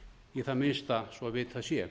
í það minnsta svo vitað sé